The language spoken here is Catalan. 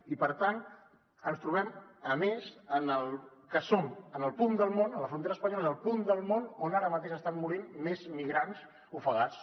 i per tant ens trobem a més amb que som en el punt del món a la frontera espanyola on ara mateix s’estan morint més migrants ofegats